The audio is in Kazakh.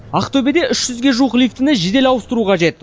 ақтөбеде үш жүзге жуық лифтіні жедел ауыстыру қажет